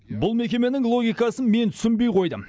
бұл мекеменің логикасын мен түсінбей қойдым